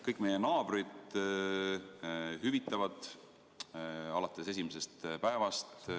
Kõik meie naaberriigid hüvitavad alates esimesest päevast.